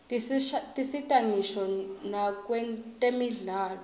tisita ngisho nakwetemidlalo